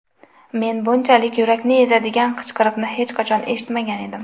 Men bunchalik yurakni ezadigan qichqiriqni hech qachon eshitmagan edim.